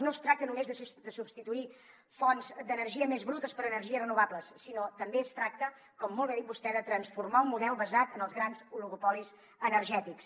no es tracta només de substituir fonts d’energia més brutes per energies renovables sinó també es tracta com molt bé ha dit vostè de transformar un model basat en els grans oligopolis energètics